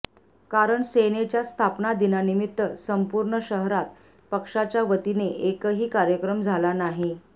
कारण सेनेच्या स्थापना दिनानिमित्त संपूर्ण शहरात पक्षाच्या वतीने एकही कार्यक्रम झाला नाही